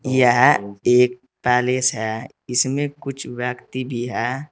यह एक पैलेस है इसमें कुछ व्यक्ति भी है।